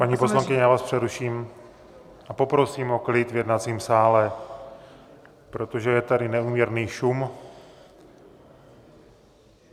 Paní poslankyně, já vás přeruším a poprosím o klid v jednacím sále, protože je tady neúměrný šum.